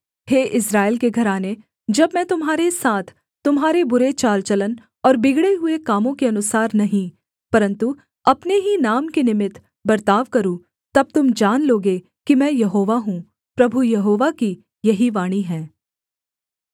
हे Israel के घराने जब मैं तुम्हारे साथ तुम्हारे बुरे चाल चलन और बिगड़े हुए कामों के अनुसार नहीं परन्तु अपने ही नाम के निमित्त बर्ताव करूँ तब तुम जान लोगे कि में यहोवा हूँ प्रभु यहोवा की यही वाणी है